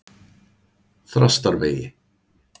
Þrastarvegi